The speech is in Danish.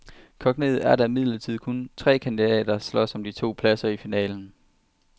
Kogt ned er der imidlertid kun tre kandidater, der slås om de to pladser i finalen.